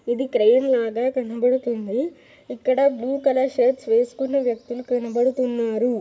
ఇది క్రేన్ లాగే కనబడుతుంది. ఇక్కడ బ్లూ కలర్ షర్టు వేస్కున్నా వ్యక్తిలు కనబడుతున్నారు.